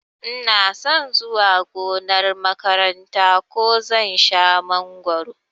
Inason zuwa gonar makaranta ko zan shan mangoro